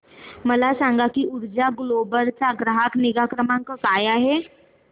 मला सांग की ऊर्जा ग्लोबल चा ग्राहक निगा क्रमांक काय आहे